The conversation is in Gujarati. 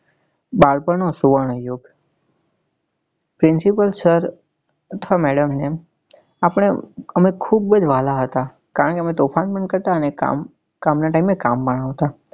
બાળપણ નો સુવર્ણયુગ principal sir અથવા madam ને આપને અમે ખુબ જ વાલા હતા કારણ કે અમે તોફાન પણ કરતા અને કામ કામ નાં time એ કામ પણ આવતા